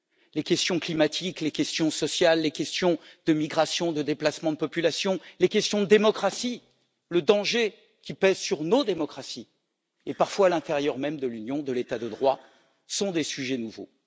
Les questions climatiques, les questions sociales, les questions de migrations, de déplacements de population, les questions de démocratie, le danger qui pèse sur nos démocraties et parfois à l'intérieur même de l'Union, de l'état de droit, sont des sujets nouveaux.